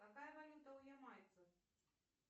какая валюта у ямайцев